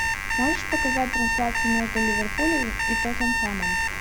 можешь показать трансляцию между ливерпулем и тоттенхэмом